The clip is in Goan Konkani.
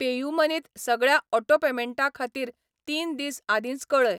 पेयूमनी त सगळ्या ऑटो पेमेंटां खातीर तीन दीस आदींच कऴय.